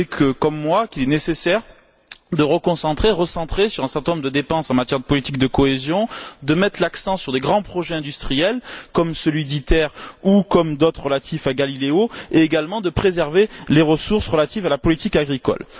Vous savez, comme moi, qu'il est nécessaire de se recentrer sur un certain nombre de dépenses en matière de politique de cohésion, de mettre l'accent sur des grands projets industriels, comme celui d'ITER ou comme d'autres relatifs à Galileo, et également de préserver les ressources relatives à la politique agricole.